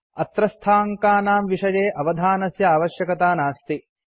अत्रस्थाङ्कानां विषये अवधानस्य आवश्यकता नास्ति